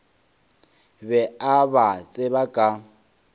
be a ba tseba ka